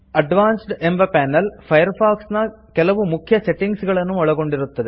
advanced ಎಂಬ panel Firefox ನ ಕೆಲವು ಮುಖ್ಯ ಸೆಟ್ಟಿಂಗ್ಸ್ ಗಳನ್ನು ಒಳಗೊಂಡಿರುತ್ತದೆ